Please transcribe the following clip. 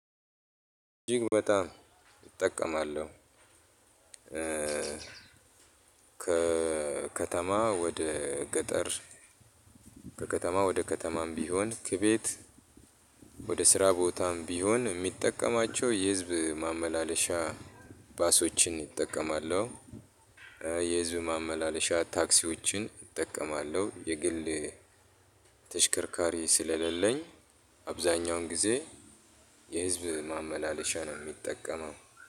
እጅግ በጣም እጠቀማለሁ። ከከተማ ወደ ገጠር ከከተማ ወደ ከተማም ቢሆን ከቤት ወደ ስራ ቦታም ቢሆን የምጠቀማቸው የህዝብ ማመላለሻ ባሶችን እጠቀማለሁ። የህዝብ ማመላለሻ ታክሲዎችን እጠቀማለሁ የግል ተሽከርካሪ ስለሌለኝ አብዛኛውን ጊዜ የህዝብ ማመላለሻ ነው የሚጠቀመው።